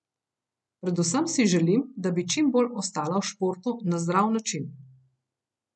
Predvsem si želim, da bi čim bolj ostala v športu na zdrav način ...